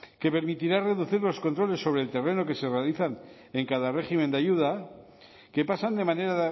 que permitirá reducir los controles sobre el terreno que se organizan en cada régimen de ayuda que pasan de manera